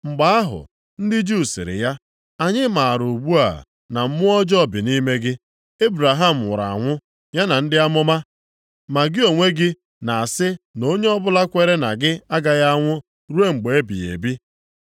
Mgbe ahụ ndị Juu sịrị ya, “Anyị maara ugbu a na mmụọ ọjọọ bi nʼime gị. Ebraham nwụrụ anwụ ya na ndị amụma, ma gị onwe gị na-asị na onye ọbụla kwere na gị agaghị anwụ ruo mgbe ebighị ebi.